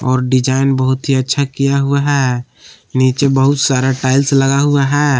और डिजाइन बहुत ही अच्छा किया हुआ है नीचे बहुत सारा टाइल्स लगा हुआ है।